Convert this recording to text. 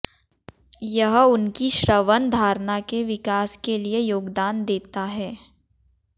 यह उनकी श्रवण धारणा के विकास के लिए योगदान देता है